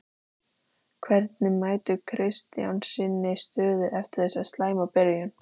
Hvernig metur Kristján sína stöðu eftir þessa slæmu byrjun?